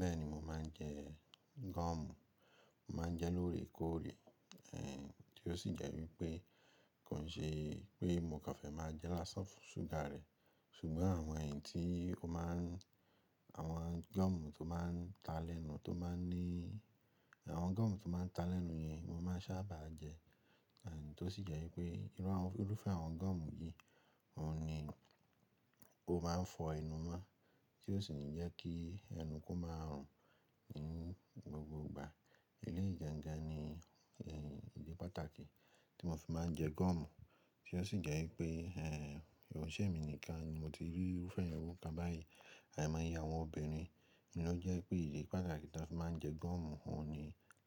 Bẹ́ẹ̀ni mo máa ń jẹ gọ́ọ̀mù, mo màá ń jẹ lóòrèkóòrè, tí ó sì jẹ́ wípé kó ṣe pé mo kàn fẹ́ máa jẹ lásán fún ṣúgà rẹ̀, ṣùgbọ́n àwọn èyí tí ó má ń, àwọn gọ́ọ̀mù tó máa ń ta lẹ́nu tó máa ń ní, àwọn gọ́ọ̀mù tó máa ń ta lẹ́nu yẹn mo máa ń sábà jẹ, tó sì jẹ́ wípé inú àwọn, olufẹ́ àwọn gọ́ọ̀mù yìí ó ní ó máa ń fọ ẹnu mọ́ tí ó sì ń jẹ́ kí ẹnu kó máa rùn inú gbogbo ìgbà. Eleyi gàǹgàn ni, ìdí pàtàkì tí mo fi máa ń jẹ gọ́ọ̀mù tí ó sì jẹ́ wípé kọ̀ṣẹ̀ emi nìkan ni mo ti rí to fẹ́ran irú kan báyìí, àìmọye àwọn obìnrin ló jẹ́ pé ìdí pàtàkì tí a fi máa ń jẹ gọ́ọ̀mù ó ni